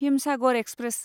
Himsagar express